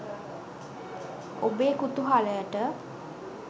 ඔබේ කුතුහලයට